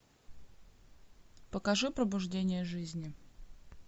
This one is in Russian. покажи пробуждение жизни